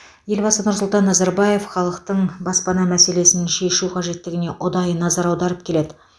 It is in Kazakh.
елбасы нұрсұлтан назарбаев халықтың баспана мәселесін шешу қажеттігіне ұдайы назар аударып келеді